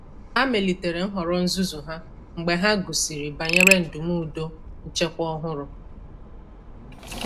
ha melitere nhọrọ nzụzụ ha mgbe ha gụsịrị banyere ndumụdo nchekwa ọhụrụ.